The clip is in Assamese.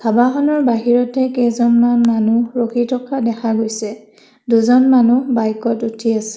ধাবাখনৰ বাহিৰতে কেইজনমান মানুহ ৰখি থকা দেখা গৈছে দুজন মানু্হ বাইকত উঠি আছে।